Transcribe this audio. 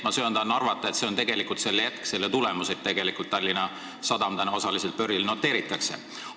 Ma söandan arvata, et tegelikult on selle jätk ja tulemus, et Tallinna Sadam osaliselt börsil noteeritakse.